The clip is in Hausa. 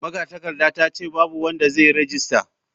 Magatakardar ta ce babu wanda zai yi rajista.